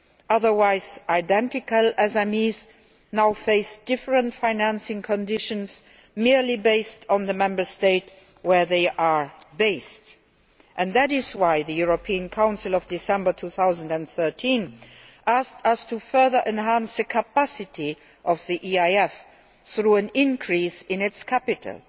Otherwise identical SMEs now face different financing conditions, merely based on the Member State where they are based, and that is why the European Council of December 2013 asked us to further enhance the capacity of the EIF through an increase in its capital.